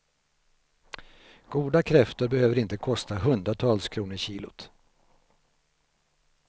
Goda kräftor behöver inte kosta hundratals kronor kilot.